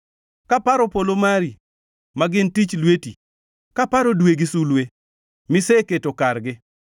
Kaparo polo mari ma gin tich lweti, kaparo dwe gi sulwe miseketo kargi,